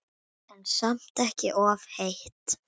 En samt ekki of heitt.